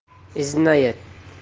и зная